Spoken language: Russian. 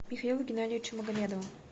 михаилу геннадьевичу магомедову